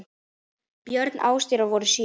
Börn Ásdísar voru sjö.